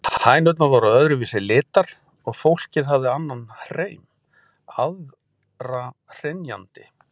Hænurnar voru öðru vísi litar og fólkið hafði annan hreim, aðra hrynjandi.